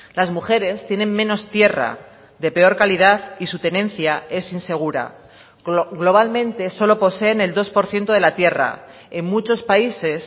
las mujeres tienen menos tierra de peor calidad y su tenencia es insegura globalmente solo poseen el dos por ciento de la tierra en muchos países